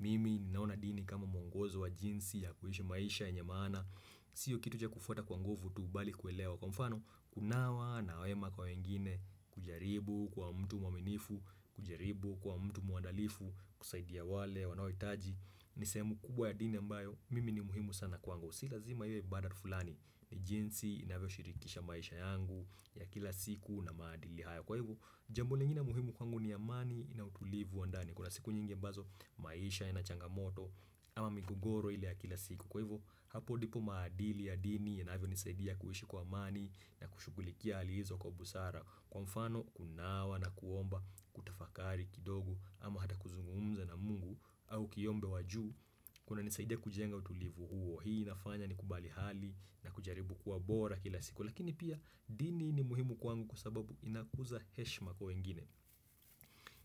Mimi ninaona dini kama mwongozo wa jinsi ya kuishi maisha yenye maana siyo kitu cha kufuata kwa nguvu tu bali kuelewa Kwa mfano kunawa na wema kwa wengine kujaribu kuwa mtu mwaminifu kujaribu kuwa mtu muandalifu kusaidia wale wanaohitaji ni sehemu kubwa ya dini ambayo mimi ni muhimu sana kwangu Si lazima iwe ibada tu fulani ni jinsi inavyoshirikisha maisha yangu ya kila siku na maadili hayo Kwa hivo jambo lingine muhimu kwangu ni amani na utulivu wa ndani Kuna siku nyingi ambazo maisha inachangamoto ama migogoro ile ya kila siku Kwa hivo hapo ndipo maadili ya dini yanavyo nisaidia kuishi kwa amani na kushukulikia hali hizo kwa busara Kwa mfano kunawa na kuomba kutafakari kidogo ama hata kuzungumza na Mungu au kiyombe wajuu kunanisaidia kujenga utulivu huo hii nafanya ni kubali hali na kujaribu kuwa bora kila siku lakini pia dini ni muhimu kwangu kwa sababu inakuza heshima kwa wengine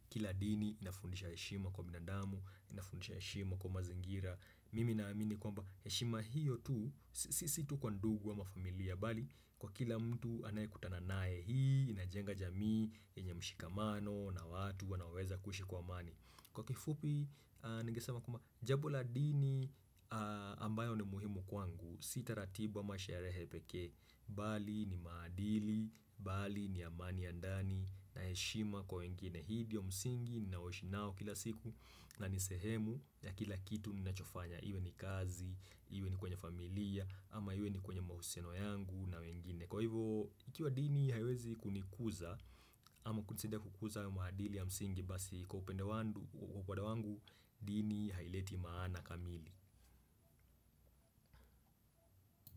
kila dini inafundisha heshima kwa binadamu inafundisha heshima kwa mazingira mimi naamini kwamba heshima hiyo tu sisi tu kwa ndugu ama familia bali kwa kila mtu anaye kutana naye hii inajenga jamii yenye mshikamano na watu wanaoweza kuishi kwa amani kwa kifupi ningesema kwamba jambo la dini ambayo ni muhimu kwangu Sitaratibu ama sherehe pekee bali ni maadili, bali ni amani ya ndani na heshima kwa wengine hii ndio msingi ninaoishi nao kila siku na nisehemu ya kila kitu ninachofanya iwe ni kazi, iwe ni kwenye familia ama iwe ni kwenye mahusiano yangu na wengine Kwa hivo, ikiwa dini haiwezi kunikuza ama kunisidia kukuza wa maadili ya msingi basi kwa upende wangu, dini haileti maana kamili.